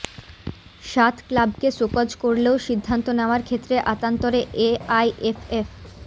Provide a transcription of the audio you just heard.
সাত ক্লাবকে শোকজ করলেও সিদ্ধান্ত নেওয়ার ক্ষেত্রে আতান্তরে এআইএফএফ